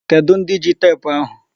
Kedụ ndị ji teepu ahụ?